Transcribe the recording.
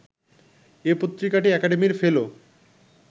এ পত্রিকাটি একাডেমির ফেলো